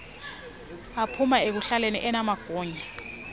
aphuma ekuhlaleni anamagunya